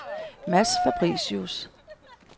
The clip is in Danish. Mads Fabricius